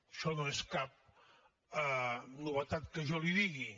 això no és cap novetat que jo li digui